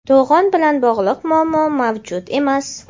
To‘g‘on bilan bog‘liq muammo mavjud emas.